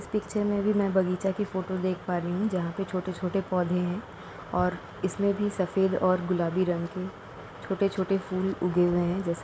इस पिक्चर में भी मैं बगीचे की फोटो देख पा रही हूँ जहां पर छोटे छोटे पौधे हैं और इस में भी सफेद और गुलाबी रंग के छोटे छोटे फूल उगे हुए हैं। जैसा --